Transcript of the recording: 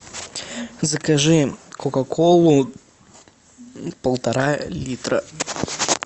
закажи кока колу полтора литра